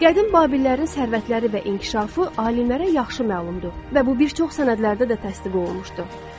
Qədim Babillərin sərvətləri və inkişafı alimlərə yaxşı məlumdur və bu bir çox sənədlərdə də təsdiq olunmuşdur.